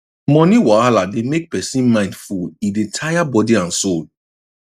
money wahala dey make person mind full e dey tire body and soul